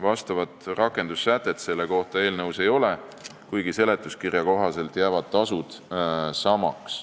Vastavat rakendussätet selle kohta eelnõus ei ole, kuigi seletuskirja kohaselt jäävad tasud samaks.